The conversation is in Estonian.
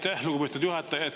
Aitäh, lugupeetud juhataja!